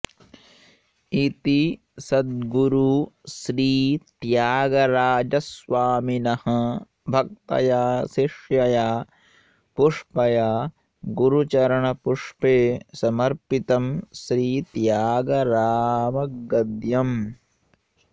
इति सद्गुरुश्रीत्यागराजस्वामिनः भक्तया शिष्यया पुष्पया गुरुचरणपुष्पे समर्पितं श्रीत्यागरामगद्यम्